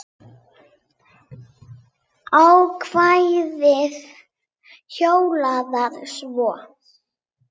Ákvæðið hljóðar svo